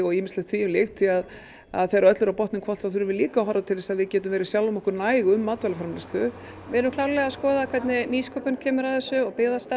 ýmislegt þvíumlíkt því þegar öllu er á botninn hvolft þurfum við líka að horfa til þess að við gætum verið sjálfum okkur næg um matvælaframleiðslu við erum klárlega að skoða hvernig nýsköpun kemur að þessu og